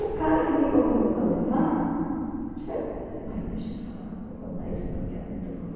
O cara que me convidou para levar, chegou, mas deixa para lá, não vou contar isso não, que é muito ruim.